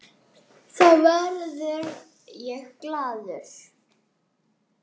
Þá verð ég glaður.